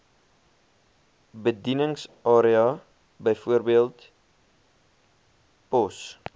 bedieningsarea bv pos